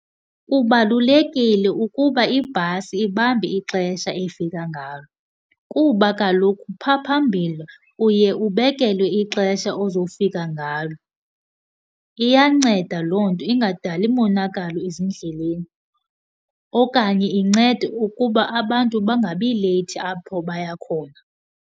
Kubalulekile ukuba ibhasi ibambe ixesha efika ngalo, kuba kaloku phaa phambili uye ubekelwe ixesha ozofika ngalo. Iyanceda loo nto ingadali monakalo ezindleleni. Okanye incede ukuba abantu bangabi leyithi apho baya khona.